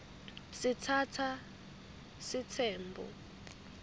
sitsatsa sitsembu